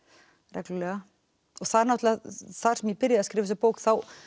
reglulega þar þar sem ég byrjaði að skrifa þessa bók þá